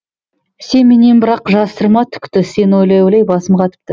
сен менен бірақ жасырма түкті сені ойлай ойлай басым қатыпты